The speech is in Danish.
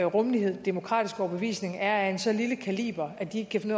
rummelighed og demokratiske overbevisning er af en så lille kaliber at de ikke kan finde